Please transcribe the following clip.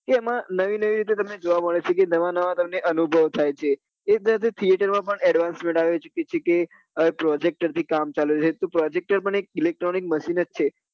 તે એમાં નવી નવી રીતે તમને જોવા મળે છે કે નવા નવા તમને અનુભવ થાય છે એ જ રીતે theatre માં પણ advancement આવી ચુક્યું છે કે projector થી કામ ચાલે છે તો projector પણ electronic machine જ છે